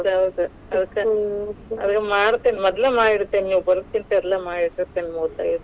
ಹೌದ್ ಹೌದ್ ಮಾಡ್ತಿನಿ, ಮೊದ್ಲೆ ಮಾಡಿ ಇಡ್ತಿನಿ ನೀವ್ ಬರೋಕಿನ್ತ ಎಲ್ಲ ಮಾಡಿ ಇಟ್ಟಿರ್ತಿನಿ .